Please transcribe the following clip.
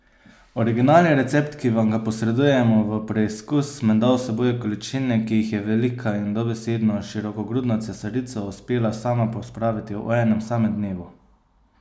Originalni recept, ki vam ga posredujemo v preizkus, menda vsebuje količine, ki jih je velika in dobesedno širokogrudna cesarica uspela sama pospraviti v enem samem dnevu!